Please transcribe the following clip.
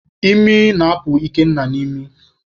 Imi na-apụ Ikenna n'imi